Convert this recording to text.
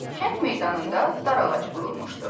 Kənd meydanında darağacı qurulmuşdu.